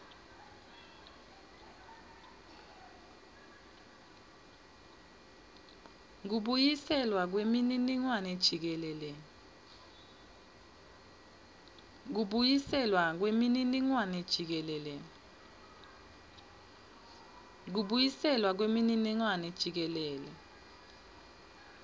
kubuyiselwa kwemininingwane jikelele